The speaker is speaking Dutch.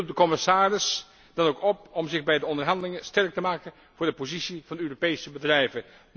Ik roep de commissaris dan ook op om zich bij de onderhandelingen sterk te maken voor de positie van de Europese bedrijven.